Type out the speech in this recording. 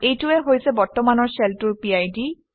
এইটোৱেই হৈছে বৰ্তমানৰ শ্বেলটোৰ PID